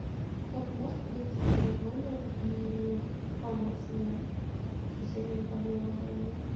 кто то может подойти ко мне в номер и помочь мне с решением проблемы данной